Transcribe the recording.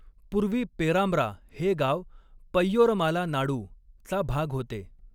पूर्वी 'पेरांब्रा' हे गाव 'पय्योरमाला नाडू'चा भाग होते.